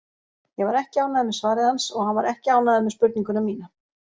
Ég var ekki ánægður með svarið hans, og hann var ekki ánægður með spurninguna mína.